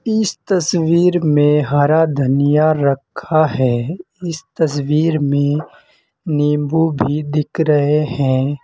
इस तस्वीर में हरा धनिया रखा है इस तस्वीर में नींबू भी दिख रहे हैं।